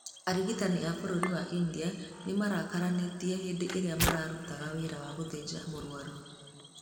Arigitani a Bũrũri-inĩ wa India nĩ marakararanĩtie hĩndĩ ĩrĩa mararutaga wĩra wa gũthĩnja mũrwaru.